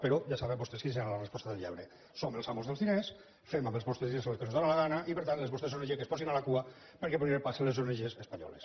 però ja saben vostès quina serà la resposta del lladre som els amos dels diners fem amb els vostres diners el que ens dóna la gana i per tant les vostres ong que es posin a la cua perquè primer passen les ong espanyoles